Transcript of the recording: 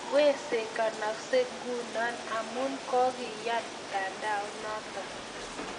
Wesekanaksei ngunoamu ka koingian mtandao I noto